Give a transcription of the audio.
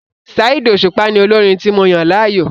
Saheed Osupa ni olórin tí mo yàn láàyò.